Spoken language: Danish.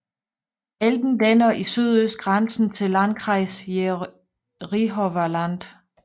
Elben danner i sydøst grænse til Landkreis Jerichower Land